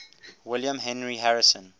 william henry harrison